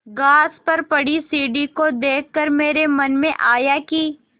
घास पर पड़ी सीढ़ी को देख कर मेरे मन में आया कि